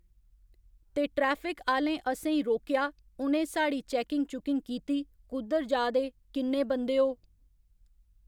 ते ट्रैफिक आह्‌लें असेंई रोकेआ उ'नें साढ़ी चैकिंग चुकिंग कीती कुद्धर जा दे किन्ने बंदे ओ